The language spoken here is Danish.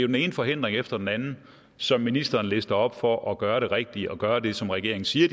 den ene forhindring efter den anden som ministeren lister op for at gøre det rigtige og gøre det som regeringen siger at